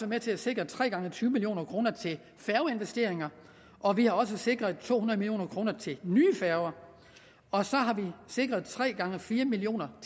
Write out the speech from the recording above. med til at sikre tre gange tyve million kroner til færgeinvesteringer og vi har også sikret to hundrede million kroner til nye færger og så har vi sikret tre gange fire million